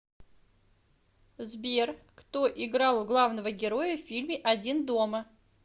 сбер кто играл главного героя в фильме один дома